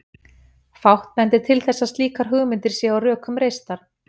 Fátt bendir til þess að slíkar hugmyndir séu á rökum reistar.